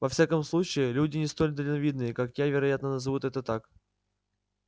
во всяком случае люди не столь дальновидные как я вероятно назовут это так